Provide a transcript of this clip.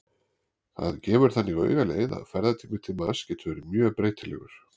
Það gefur þannig augaleið að ferðatími til Mars getur verið mjög breytilegur.